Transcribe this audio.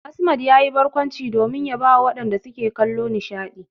Asmad yayi barkwanci domin ya bawa masu kallo nishadi.